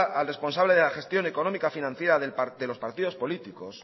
al responsable de la gestión económica financiera de los partidos políticos